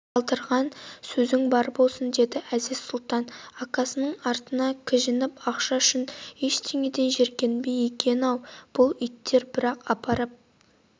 сылдыраған сөзің бар болсын деді әзиз-сұлтан акасына сыртынан кіжініп ақша үшін ештеңеден жиіркенбейді екен-ау бұл иттер бірақ апарып